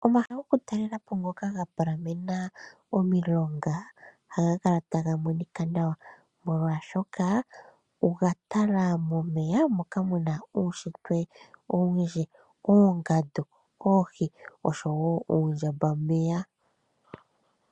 Omahala gokutalelapo ngoka ga palamena omilonga ohaga kala taga monika nawa molwashoka oga tala momeya moka mu na uunshitwe owundji, oongandu, oohi oshowo uundjambameya.